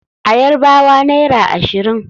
A Yarbawa naira ashirin.